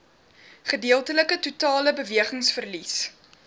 gedeeltelike totale bewegingsverlies